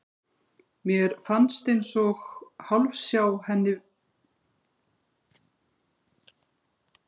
Mér fannst ég eins og hálfsjá henni bregða fyrir í glugga.